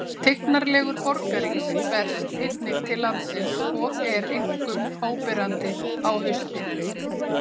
tignarlegur borgarís berst einnig til landsins og er einkum áberandi á haustin